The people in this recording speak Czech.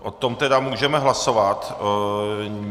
O tom tedy můžeme hlasovat.